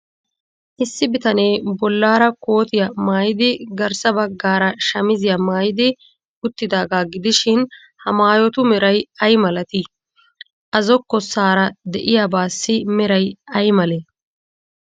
Issi bitanee bollaara kootiyaa maayidi garssa baggaara shamiziyaa maayidi uttidaagaa gidishin, ha maayotu meray ay malatii? A zokkossaara de'iyaabaassi meray ay malee?